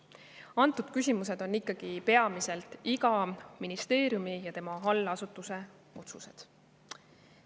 Säärased küsimused on ikkagi peamiselt iga ministeeriumi ja tema allasutuse otsused.